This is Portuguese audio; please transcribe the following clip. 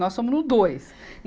Nós somos no dois.